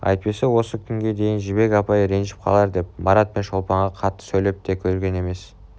әйтпесе осы күнге дейін жібек апай ренжіп қалар деп марат пен шолпанға қатты сөйлеп те көрген емес